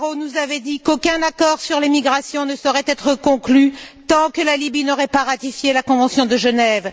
Barrot nous avait dit qu'aucun accord sur les migrations ne saurait être conclu tant que la Libye n'aurait pas ratifié la Convention de Genève.